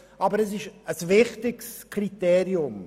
Aber es ist ein wichtiges Kriterium.